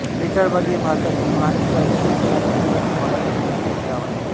वेताळवाडी हे भारतातील महाराष्ट्र राज्यातील सोलापूर जिल्ह्यातील माढा तालुक्यातील एक गाव आहे